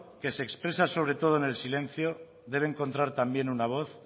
que se expresa sobre todo en el silencio debe encontrar también una voz